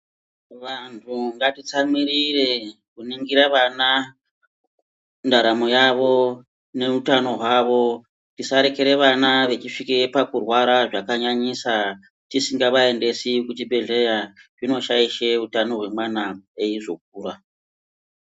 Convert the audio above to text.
Vanthu ngatitsamwirire kuningire vana ndaramo yavo neutano hwavo tisarekere vana vechisvike pakurwara zvakanyanyisa tisingavaendesi kuchibhedhleya, zvinoshaishe utano hwemwana eizokura.